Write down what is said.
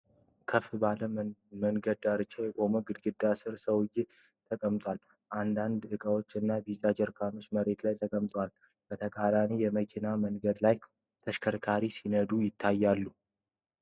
ከፍ ባለ መንገድ ዳርቻ የቆመ ግድግዳ ሥር ሰዎች ተቀምጠዋል፤ አንዳንድ ዕቃዎች እና ቢጫ ጀሪካኖች መሬት ላይ ተቀምጠዋል። በተቃራኒው የመኪና መንገድ ላይ ተሽከርካሪዎች ሲነዱ ይታያሉ።